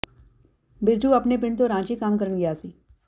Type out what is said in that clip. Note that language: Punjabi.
ਬਿਰਜੂ ਆਪਣੇ ਪਿੰਡ ਤੋਂ ਰਾਂਚੀ ਕੰਮ ਕਰਨ ਗਿਆ ਸੀ